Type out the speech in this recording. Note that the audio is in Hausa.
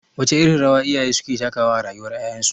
Wace irin rawa iyaye suke takawa a rayuwar ƴaƴansu?